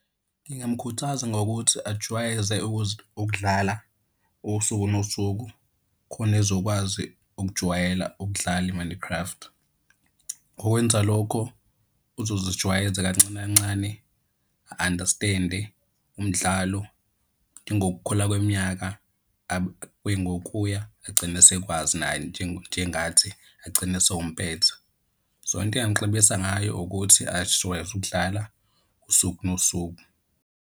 Ngingamkhuthaza ngokuthi ajwayeze ukudlala usuku nosuku khona ezokwazi ukujwayela ukudlala i-Minecraft. Ngokwenza lokho uzozijwayeza kancane kancane, a-understand-e umdlalo, ingokukhula kweminyaka kuye ngokuya agcine esekwazi naye njengathi agcine esewumpetha. So, into engingamxebisa ngayo ukuthi azijwayeze ukudlala usuku nosuku.